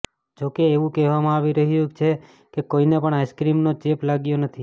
જો કે એવું કહેવામાં આવી રહ્યું છે કે કોઈને પણ આઈસ્ક્રીમનો ચેપ લાગ્યો નથી